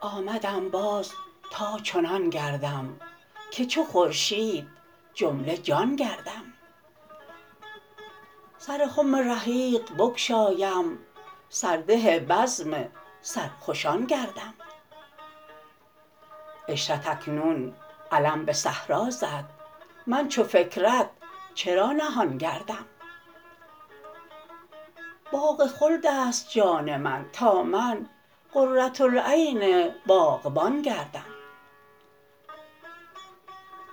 آمدم باز تا چنان گردم که چو خورشید جمله جان گردم سر خم رحیق بگشایم سرده بزم سرخوشان گردم عشرت اکنون علم به صحرا زد من چو فکرت چرا نهان گردم باغ خلدست جان من تا من قرةالعین باغبان گردم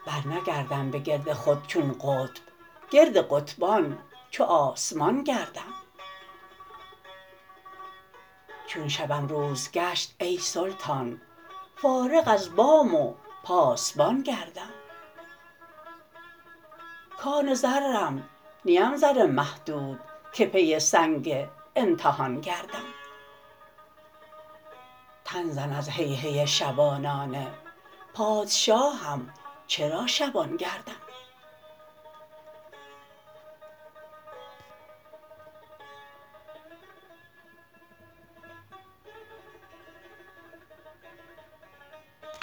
برنگردم به گرد خود چون قطب گرد قطبان چو آسمان گردم چون شبم روز گشت ای سلطان فارغ از بام و پاسبان گردم کان زرم نیم زر محدود که پی سنگ امتحان گردم تن زن از هی هی شبانانه پادشاهم چرا شبان گردم